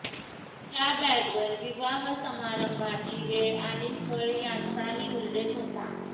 ह्या बॅगवर विवाहसमारंभाची वेळ आणि स्थळ ह्यांचाही उल्लेख होता